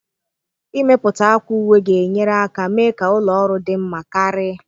Ịmepụta akwa uwe ga-enyere aka mee ka ụlọ ọrụ dị mma karị